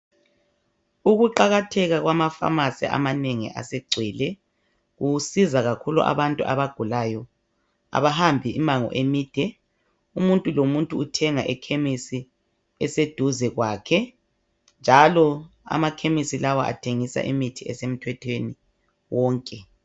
Ukuqakatheka kwamafamasi amanengi asegcwele kusiza kakhulu abantu abagulayo abahambi imango emide umuntu lomuntu uthenga ekhemesi eseduze kwakhe njalo amakhemisi lawa athengisa imithi esemthethweni wonke.